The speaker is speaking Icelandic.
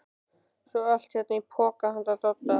Svo er allt hérna í poka handa Dodda.